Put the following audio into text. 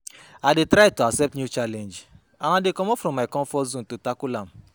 i dey try to accept new challenge and i dey comot from my comfort zone to tackle am.